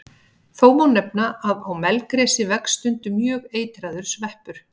Þó má nefna að á melgresi vex stundum mjög eitraður sveppur.